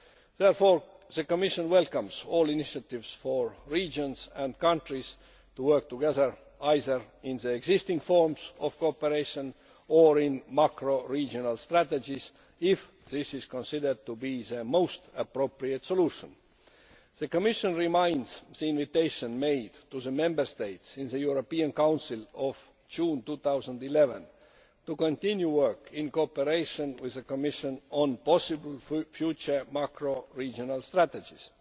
Therefore the Commission welcomes all initiatives for regions and countries to work together, either in the existing forms of cooperation or in macro regional strategies if this is considered to be the most appropriate solution. The Commission reminds Members of the invitation made to the Member States in the European Council of June 2011 to continue work in cooperation with the Commission on possible future macro regional strategies.